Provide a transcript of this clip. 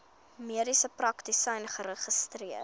mediese praktisyn geregistreer